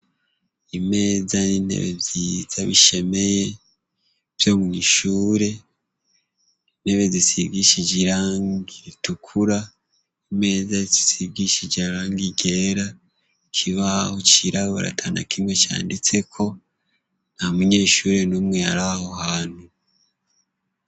Imeza intebe vyiza bishemeye vyo mwishure intebe isigishije irangi ritukura, imeza usigishije ibara ryera, ikibaho cirabura atanakimwe canditseko, nta munyeshure numwe araho hantu.